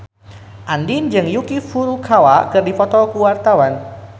Andien jeung Yuki Furukawa keur dipoto ku wartawan